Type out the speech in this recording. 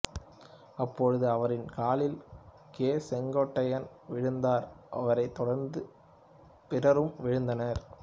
அப்பொழுது அவரின் காலில் கே செங்கோட்டையன் விழுந்தார் அவரைத் தொடர்ந்து பிறரும் விழுந்தனர்